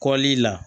Kɔlili la